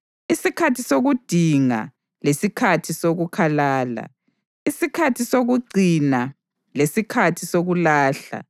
isikhathi sokudinga lesikhathi sokukhalala, isikhathi sokugcina lesikhathi sokulahla,